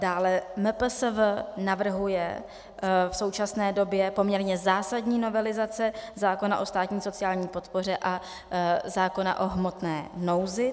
Dále MPSV navrhuje v současné době poměrně zásadní novelizace zákona o státní sociální podpoře a zákona o hmotné nouzi.